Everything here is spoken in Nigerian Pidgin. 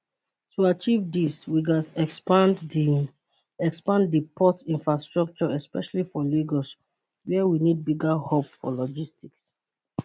to achieve dis we gatz expand di expand di port infrastructure especially for lagos wia we need bigger hub for logistics